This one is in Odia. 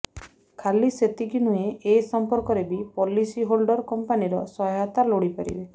ଖାଲି ସେତିକି ନୁହେଁ ଏସଂପର୍କରେ ବି ପଲିସି ହୋଲ୍ଡର କଂପାନୀର ସହାୟତା ଲୋଡି ପାରିବେ